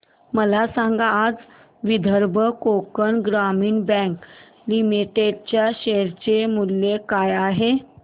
मला सांगा आज विदर्भ कोकण ग्रामीण बँक लिमिटेड च्या शेअर चे मूल्य काय आहे